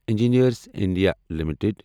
engineers India limited